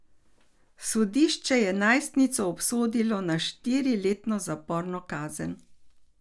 Sodišče je najstnico obsodilo na štiriletno zaporno kazen.